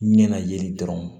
Ɲɛna yeli dɔrɔn